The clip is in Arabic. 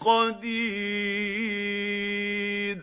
قَدِيرٌ